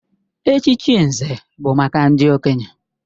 Echichi Nze bụ maka ndị okenye.